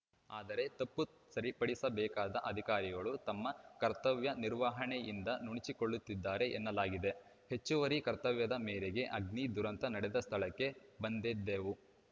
ಆದರೆ ತಪ್ಪು ಸರಿಪಡಿಸಬೇಕಾದ ಅಧಿಕಾರಿಗಳು ತಮ್ಮ ಕರ್ತವ್ಯ ನಿರ್ವಹಣೆಯಿಂದ ನುಣುಚಿಕೊಳ್ಳುತ್ತಿದ್ದಾರೆ ಎನ್ನಲಾಗಿದೆ ಹೆಚ್ಚುವರಿ ಕರ್ತವ್ಯದ ಮೇರೆಗೆ ಅಗ್ನಿ ದುರಂತ ನಡೆದ ಸ್ಥಳಕ್ಕೆ ಬಂದಿದ್ದೇವು